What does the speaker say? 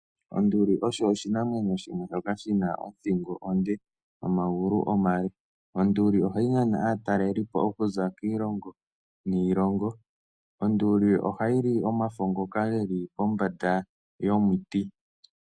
Onduli osho oshinamwenyo shimwe shoka shi na othingo onde nomagulu omale. Onduli ohayi nana aatalelipo okuza kiilongo niilongo. Onduli ohayi li omafo ngoka ge li pombanda yomuti.